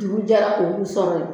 Dugu jɛra jɛra k'olu sɔrɔ yen